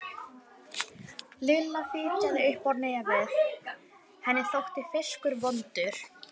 Lilla fitjaði upp á nefið, henni þótti fiskur vondur.